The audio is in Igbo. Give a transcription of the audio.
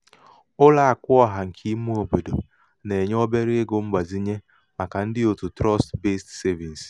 ụlọàkụ̀ ọ̀hà ṅ̀kè ime òbòdò nà-ènye obere ego mgbazinye màkà ndị òtù trust-based trust-based savings